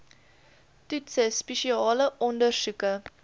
toetse spesiale ondersoeke